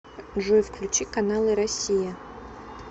джой включи каналы россия